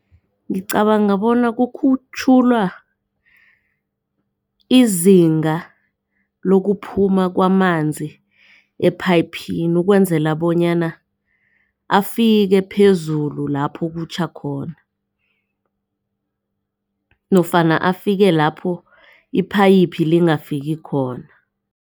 Ngicabanga bona kukhutjhulwa izinga lokuphuma kwamanzi ephayiphini ukwenzela bonyana afike phezulu lapho kutjha khona nofana afike lapho iphayiphi lingakafiki khona.